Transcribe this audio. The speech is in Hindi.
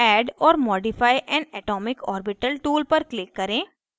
add or modify an atomic orbital tool पर click करें